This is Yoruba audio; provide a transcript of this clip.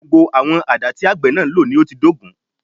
Gbogbo àwọn àdá tí àgbẹ̀ náà ń lò ni ó ti dógùn